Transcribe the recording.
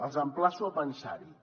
els emplaço a pensar hi